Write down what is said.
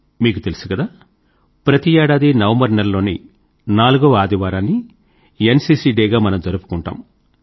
మీకు తెలుసు కదా ప్రతి ఏడాదీ నవంబరు నెలలోని నాలుగవ ఆదివారాన్ని ఎన్సీసీ డే గా మనం జరుపుకుంటాము